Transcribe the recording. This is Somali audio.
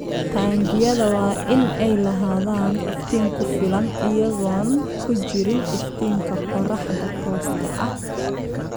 Taangiyada waa inay lahaadaan iftiin ku filan iyagoon ku jirin iftiinka qorraxda tooska ah.